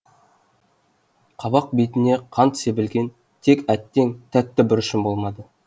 қабақ бетіне қант себілген тек әттең тәтті бұрышым болмады